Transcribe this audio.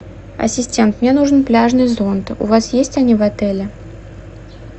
ассистент мне нужен пляжный зонт у вас есть они в отеле